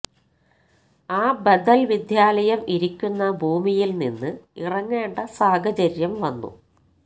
ആ ബദല് വിദ്യാലയം ഇരിക്കുന്ന ഭൂമിയില് നിന്ന് ഇറങ്ങേണ്ട സാഹചര്യം വന്നു